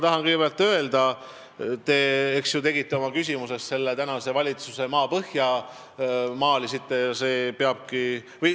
Te kirusite oma küsimuses praegust valitsust maapõhja, maalisite sellise pildi.